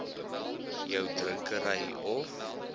jou drinkery of